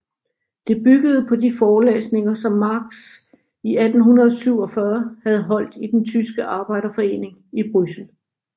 Det byggede på de forelæsninger som Marx i 1847 havde holdt i den tyske arbejderforeningen i Bryssel